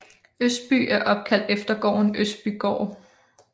Østby er opkaldt efter gården Østbygaard